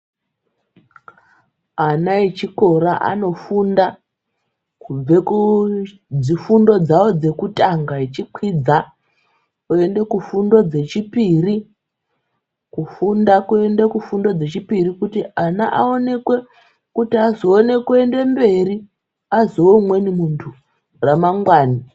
Ana echikora anofunda kubve kudzifundo dzavo dzekutanga echikwidza oende kufundo dzechipiri kufunda kuenda kufundo dzechipiri kuti ana aonekwe kuti azoone kuende mberi azowe umweni muntu ramangwana.